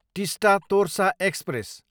Teesta Torsa express